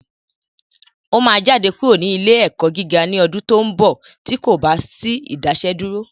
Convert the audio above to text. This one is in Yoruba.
Ó máa jáde kúrò ní ilé ẹ̀kọ́ gíga ní ọdún tó ń bọ̀ tí kò bá sí Ìdásẹ́dúró